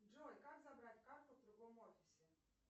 джой как забрать карту в другом офисе